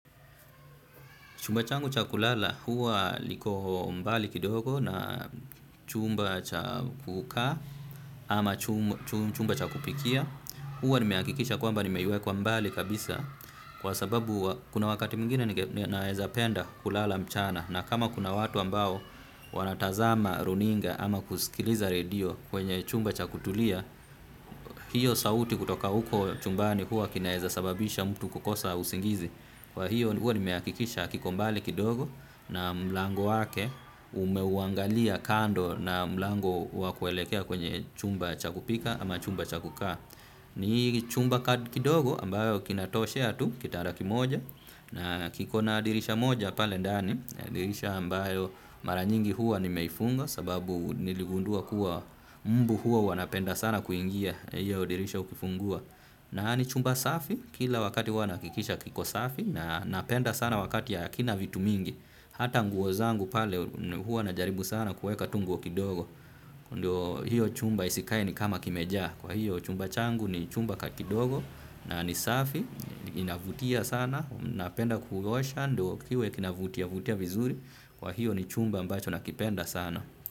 Chumba changu cha kulala huwa liko mbali kidogo na chumba cha kukaa ama chumba cha kupikia. Huwa nimehakikisha kwamba nimeiweka mbali kabisa kwa sababu kuna wakati mwingine naweza penda kulala mchana. Na kama kuna watu ambao wanatazama runinga ama kusikiliza redio kwenye chumba cha kutulia, hiyo sauti kutoka uko chumbani huwa kinaeza sababisha mtu kukosa usingizi. Kwa hiyo huwa nimehakikisha kiko mbali kidogo na mlango wake umeuangalia kando na mlango wa kuelekea kwenye chumba cha kupika ama chumba cha kukaa. Ni chumba kidogo ambayo kinatoshea tu kitada kimoja na kikona dirisha moja pale ndani. Dirisha ambayo mara nyingi huwa nimeifunga sababu niligundua kuwa mbu huwa wanapenda sana kuingia. Hio dirsha ukifungua. Na ni chumba safi, kila wakati huwa nahakikisha kiko safi na napenda sana wakati hakina vitu mingi hata nguo zangu pale huwa najaribu sana kuweka tu nguo kidogo ndio hiyo chumba isikae ni kama kimejaa. Kwa hiyo chumba changu ni chumba kidogo na ni safi, inavutia sana, napenda kuosha ndio kiwe kinavutiavutia vizuri. Kwa hio ni chumba ambacho nakipenda sana.